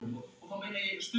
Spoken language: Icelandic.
Er hægt að hjálpa?